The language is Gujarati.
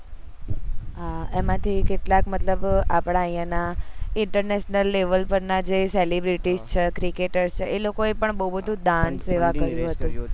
હા એમાં થી કેટલા મતલબ આપદા અય્યા ના international level પર ના જે celebrities છે cricketr છે એ લોકો એ બૌ બધું દાન સેવા કર્યું હતું